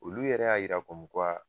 Olu yɛrɛ y'a yira kɔmu kuwa